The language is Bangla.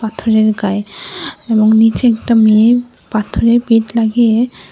পাথরের গায়ে এবং নীচে একটা মেয়ে পাথরে পিঠ লাগিয়ে--